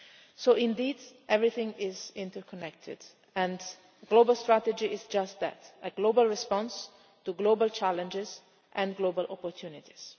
So indeed, everything is interconnected, and the global strategy is just that a global response to global challenges and global opportunities.